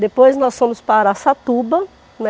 Depois nós fomos para Araçatuba, né.